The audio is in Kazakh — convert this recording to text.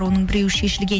оның біреуі шешілген